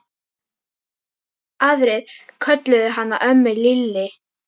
Aðrir kölluðu hana ömmu Lillý.